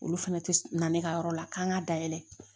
Olu fɛnɛ tɛ na ne ka yɔrɔ la k'an ka dayɛlɛ